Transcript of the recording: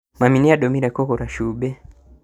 Mami nĩandũmire kũgũra cumbĩ